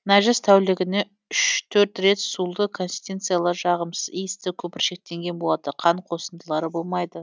нәжіс тәулігіне үш төрт рет сулы консистенциялы жағымсыз иісті көпіршіктенген болады қан қосындылары болмайды